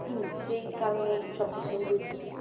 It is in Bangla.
সেই কারণে সব কিছু